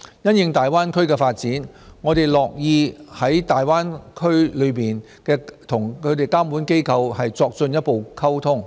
因應大灣區的發展，我們樂於與區內的監管機構作進一步溝通。